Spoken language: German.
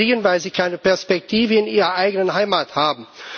Sie fliehen, weil sie keine Perspektive in ihrer eigenen Heimat haben.